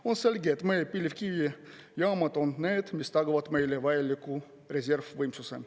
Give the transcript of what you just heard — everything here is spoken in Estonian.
On selge, et meie põlevkivijaamad on need, mis tagavad meile vajaliku reservvõimsuse.